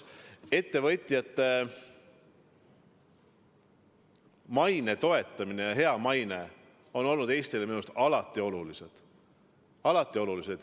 Ettevõtjate maine toetamine, hea maine on Eestile minu arust alati oluline olnud.